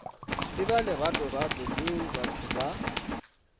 tseba leratorato leo batho ba